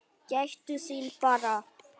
Gættu þín bara!